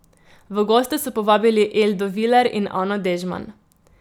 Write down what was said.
V goste so povabili Eldo Viler in Ano Dežman.